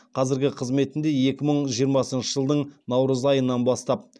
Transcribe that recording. қазіргі қызметінде екі мың жиырмасыншы жылдың наурыз айынан бастап